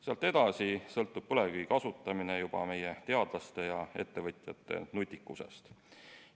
Sealt edasi sõltub põlevkivi kasutamine juba meie teadlaste ja ettevõtjate nutikusest.